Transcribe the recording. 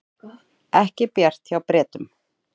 Ekki bjart hjá Bretum